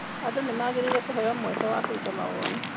Andũ nĩ magĩrĩirũo kũheo mweke wa kũruta mawoni.